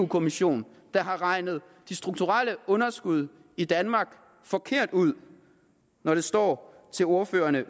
kommission der har regnet de strukturelle underskud i danmark forkert ud når det står til ordførerne